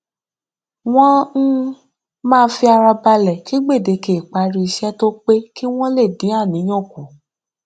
wọn um máa fi ara balẹ kí gbèdéke ìparí iṣẹ tó pé kí wọn lè dín àníyàn kù